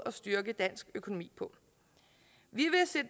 at styrke dansk økonomi på vi